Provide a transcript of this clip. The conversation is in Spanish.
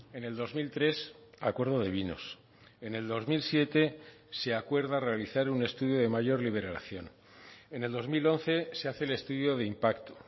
en el dos mil tres acuerdo de vinos en el dos mil siete se acuerda realizar un estudio de mayor liberación en el dos mil once se hace el estudio de impacto